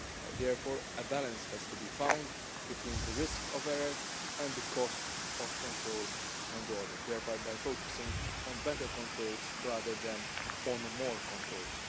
Therefore a balance has to be found between the risk of error and the cost of control and audit, thereby focusing on better controls rather than on more controls.